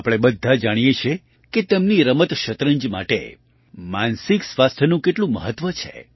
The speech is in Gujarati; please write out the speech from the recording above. આપણે બધા જાણીએ છીએ કે તેમની રમત શતરંજ માટે માનસિક સ્વાસ્થ્યનું કેટલું મહત્ત્વ છે